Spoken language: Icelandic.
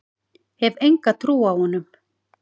Hef enga trú á honum.